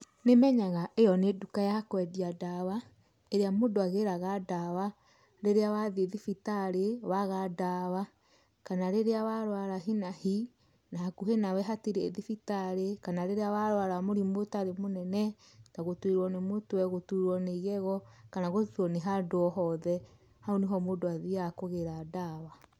Nĩmenyaga ĩo nĩnduka yakwendia ndawa ĩrĩa mũndũ agĩraga ndawa rĩrĩa wathiĩ thibitarĩ waga ndawa kana rĩrĩa warwara hihinahi nahakuhĩ nawe hatirĩ thibitarĩ kana rĩrĩa warwawa mũrimũ ũtarĩ mũnene ta gũturwo nĩ igego kana gũturwo nĩhandũ o hothe, hau nĩho mũndũ athiaga kũgĩra ndawa.